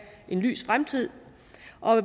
en lys fremtid